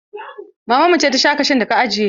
Maman mu ce ta sha kashun da ka ajiye.